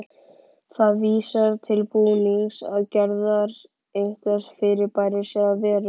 Það vísar til búnings eða gerðar einhvers fyrirbæris eða veru.